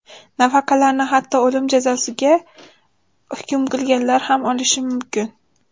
Nafaqalarni hatto o‘lim jazosiga hukm qilinganlar ham olishi mumkin.